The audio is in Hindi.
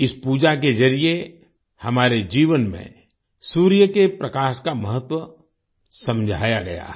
इस पूजा के जरिये हमारे जीवन में सूर्य के प्रकाश का महत्व समझाया गया है